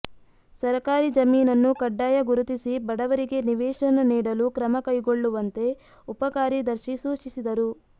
ಸರಕಾರಿ ಜಮೀನನ್ನು ಕಡ್ಡಾಯ ಗುರುತಿಸಿ ಬಡವರಿಗೆ ನಿವೇಶನ ನೀಡಲು ಕ್ರಮ ಕೈಗೊಳ್ಳುವಂತೆ ಉಪಕಾರ್ಯದರ್ಶಿ ಸೂಚಿಸಿದರು